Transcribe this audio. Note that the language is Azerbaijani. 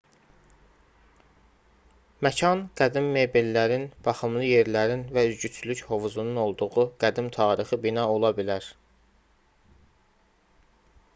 məkan qədim mebellərin baxımlı yerlərin və üzgüçülük hovuzunun olduğu qədim tarixi bina ola bilər